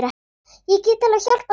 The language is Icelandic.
Ég get alveg hjálpað til.